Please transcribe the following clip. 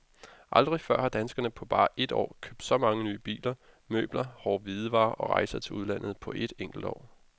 Aldrig før har danskerne på bare et år købt så mange nye biler, møbler, hårde hvidevarer og rejser til udlandet på et enkelt år.